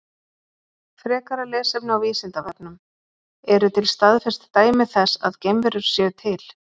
Frekara lesefni á Vísindavefnum: Eru til staðfest dæmi þess að geimverur séu til?